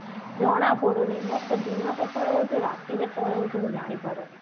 ଜଣା ପଡୁନି ମତେ ଦିନ କେତେବେଳେ ହଉଛି ରାତି କେତେବେଳେ ହଉଛି ମୁଁ ଜାନିପାରୁନି